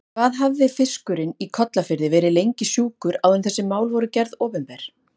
Hvað hafði fiskurinn í Kollafirði verið lengi sjúkur áður en þessi mál voru gerð opinber?